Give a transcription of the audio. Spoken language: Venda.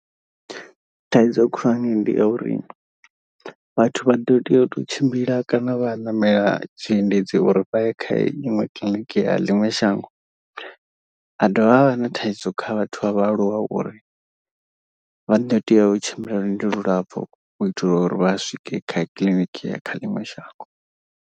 Thaidzo khulwane ndi ya uri vhathu vha ḓo tea u tou tshimbila kana vha a ṋamela tshiendedzi uri vha ye kha iṅwe kiḽiniki ya ḽiṅwe shango. Ha dovha ha vha na thaidzo kha vhathu vha vhaaluwa uri vha ḓo tea u tshimbila lwendo lulapfhu. U itela uri vha swike kha kiḽiniki ya kha ḽiṅwe shango.